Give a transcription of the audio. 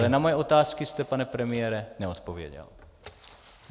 Ale na moje otázky jste, pane premiére, neodpověděl.